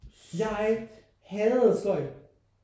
Jeg hadede sløjd